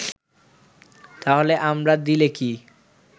তাহলে আমরা দিলে কি